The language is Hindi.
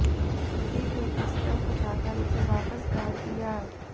फिर एक स्टंप उठाकर उसे वापस गाड़ दिया